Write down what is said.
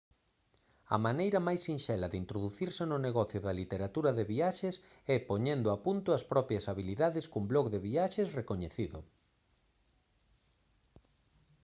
a maneira máis sinxela de introducirse no negocio da literatura de viaxes é poñendo a punto as propias habilidades cun blog de viaxes recoñecido